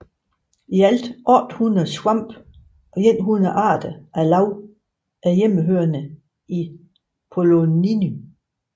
I alt 800 svampe og 100 arter af lav er hjemmehørende i Poloniny